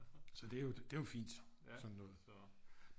Så det er jo det er jo fint sådan noget